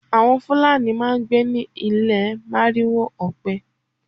Àwọn Fulani máá ń gbé ní ilé màrìwò ọpẹ